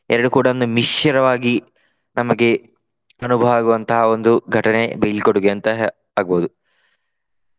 ಎರಡು ಕೂಡ ಒಂದು ಮಿಶ್ರವಾಗಿ ನಮಗೆ ಅನುಭವ ಆಗುವಂತಹ ಒಂದು ಘಟನೆ ಬೀಳ್ಕೊಡುಗೆ ಅಂತಹ ಆಗ್ಬಹುದು.